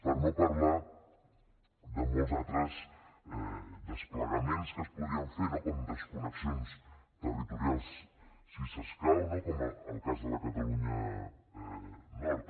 per no parlar de molts altres desplegaments que es podrien fer no com desconnexions territorials si s’escau com el cas de la catalunya nord